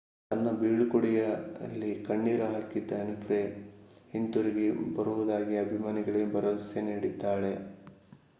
ತನ್ನ ಬೀಳ್ಕೊಡುಗೆಯಲ್ಲಿ ಕಣ್ಣೀರು ಹಾಕಿದ್ದ ವಿನ್ಫ್ರೇ ಹಿಂತಿರುಗಿ ಬರುವುದಾಗಿ ಅಭಿಮಾನಿಗಳಿಗೆ ಭರವಸೆ ನೀಡಿದ್ದಾಳೆ